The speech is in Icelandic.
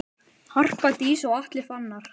Harpa Dís og Atli Fannar.